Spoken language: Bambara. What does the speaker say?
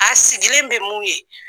A sigilen bɛ mun ye.